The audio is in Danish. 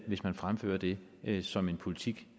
hvis man fremfører det det som en politik